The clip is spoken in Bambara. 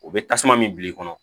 O bɛ tasuma min bil'i kɔnɔ